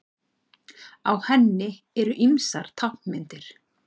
Á henni eru ýmsar táknmyndir.